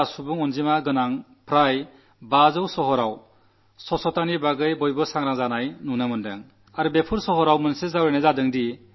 ഇതിലൂടെ ഇപ്രാവശ്യം നാം പിന്നിലായി അടുത്തപ്രാവശ്യം നാം കുറച്ചുകൂടി നന്നായി ചെയ്യുമെന്ന ഒരു ആത്മവിശ്വാസം എല്ലാ നഗരത്തിലും ഉണ്ടാകും